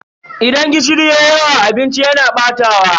Idan gishiri yayi yawa a abinci yana batawa.